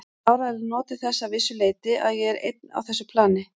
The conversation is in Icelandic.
Ég hef áreiðanlega notið þess að vissu leyti að ég er einn á þessu plani.